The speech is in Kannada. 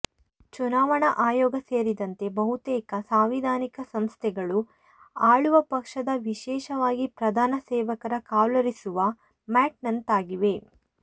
ಚುನಾವಣಾ ಆಯೋಗ ಸೇರಿದಂತೆ ಬಹುತೇಕ ಸಾಂವಿಧಾನಿಕ ಸಂಸ್ಥೆಗಳು ಆಳುವ ಪಕ್ಷದ ವಿಶೇಷವಾಗಿ ಪ್ರಧಾನ ಸೇವಕರ ಕಾಲೊರೆಸುವ ಮ್ಯಾಟ್ನಂತಾಗಿವೆ